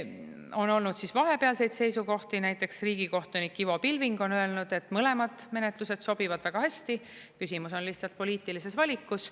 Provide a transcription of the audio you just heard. On olnud vahepealseid seisukohti, näiteks riigikohtunik Ivo Pilving on öelnud, et mõlemad menetlused sobivad väga hästi, küsimus on lihtsalt poliitilises valikus.